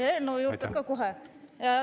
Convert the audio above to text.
Jaa, eelnõu juurde ka kohe.